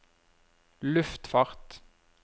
luftfart